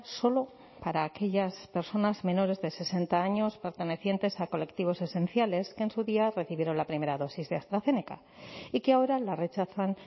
solo para aquellas personas menores de sesenta años pertenecientes a colectivos esenciales que en su día recibieron la primera dosis de astrazeneca y que ahora la rechazan